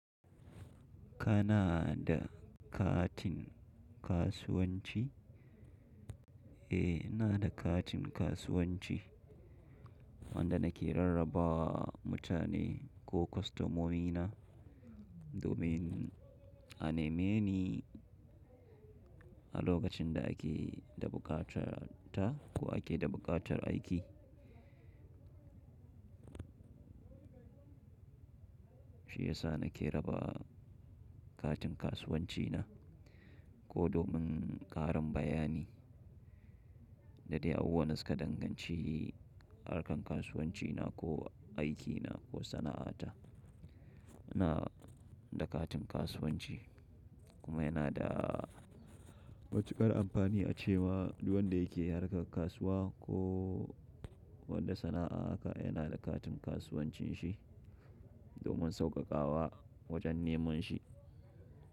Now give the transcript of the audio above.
Kana da katin kasuwanci? Eh, ina da katin kasuwanci wanda nake rarraba mutane ko kwastomomina domin a neme ni a lokacin da ake dabukatar ta ko ake dabukatar aiki. Shi yasa nake raba katin kasuwanci na, ko domin ƙarin bayani da dai a bubuwan da suka danganci harkar kasuwanci na ko aikina ko sana'ata. Ina da katin kasuwanci kuma yana da matukar amfani a cewa duk wanda yake harkar kasuwa ko wata sana'a aka yana da katin kasuwancin shi domin sauƙaƙawa wajen neman shi.